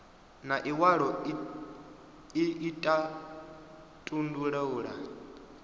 na iwalo ii i tandulula